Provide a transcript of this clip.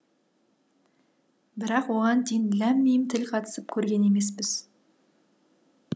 бірақ оған дейін ләм мим тіл қатысып көрген емеспіз